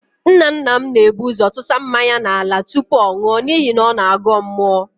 Nnanna m na-ebu ụ́zọ̀ tụsa mmanya n'ala tụpụ ọ nụọ n'ihi na ọ na-agọ mmụọ.